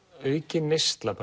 aukin neysla